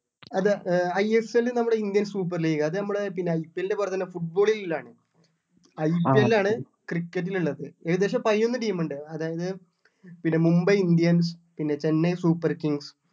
അത് ആഹ് ISL നമ്മള് Indian super league അത് നമ്മള് പിന്നെ ISL പറഞ്ഞിട്ടുള്ളത് foot ball ൽ ഉള്ളതാണ് IPL ആണ് cricket ൽ ഉള്ളത് ഏകദേശം പയിനൊന്നു team ഉണ്ട് അതായത് പിന്നെ മുംബൈ indians പിന്നെ ചെന്നൈ super kings